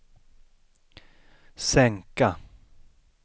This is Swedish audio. sänka